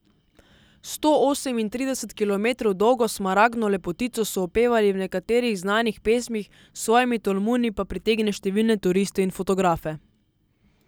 Sto osemintrideset kilometrov dolgo smaragdno lepotico so opevali v nekaterih znanih pesmih, s svojimi tolmuni pa pritegne številne turiste in fotografe.